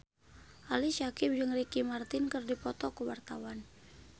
Ali Syakieb jeung Ricky Martin keur dipoto ku wartawan